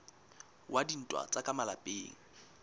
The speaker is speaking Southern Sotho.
wa dintwa tsa ka malapeng